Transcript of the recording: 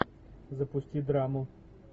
запусти драму